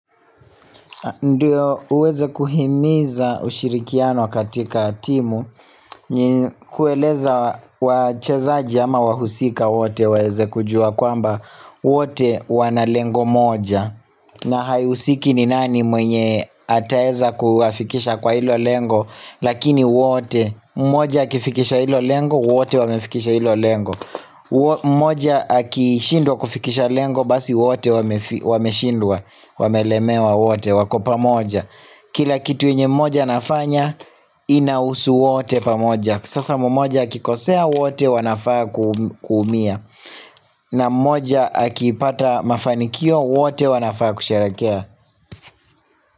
Ndiyo uweze kuhimiza ushirikiano katika timu kueleza wachezaji ama wahusika wote waeze kujua kwamba wote wana lengo moja na haihusiki ni nani mwenye ataeza kuwafikisha kwa ilo lengo Lakini wote moja akifikisha ilo lengo wote wamefikisha ilo lengo moja akishindwa kufikisha lengo Basi wote wameshindwa Wamelemewa wote wako pamoja Kila kitu enye mmoja anafanya inahusu wote pamoja Sasa mmoja akikosea wote wanafaa kuumia na mmoja akipata mafanikio wote wanafaa kusherekea.